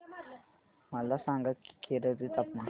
मला सांगा की केरळ चे तापमान